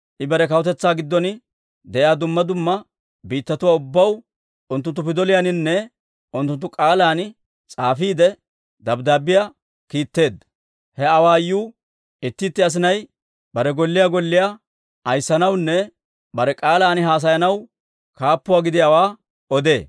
I bare kawutetsaa giddon de'iyaa dumma dumma biittatuwaa ubbaw unttunttu pidoliyaaninne unttunttu k'aalan s'aafiide, dabddaabbiyaa kiitteedda; he awaayuu, itti itti asinay bare golliyaa golliyaa ayissanawunne bare k'aalaan haasayanaw kaappuwaa gidiyaawaa odee.